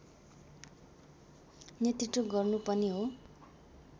नेतृत्व गर्नु पनि हो